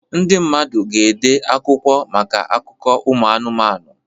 Ndị mmadụ ga-ede akwụkwọ maka akụkọ ụmụ anụmanụ